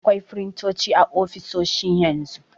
Akwai firintoci a ofisoshi yanzu.